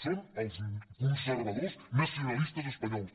són els conservadors nacionalistes espanyols